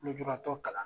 Lujuratɔ kalan